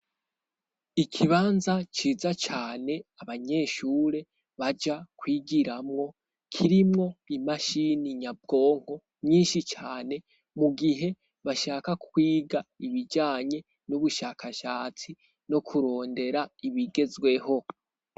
Ikibanza ciza cane abanyeshure baja kwigiramwo kirimwo imashini nyabwonko nyinshi cane mu gihe bashaka kwiga ibijanye n'ubushakashatsi no kurondera ibigezweho.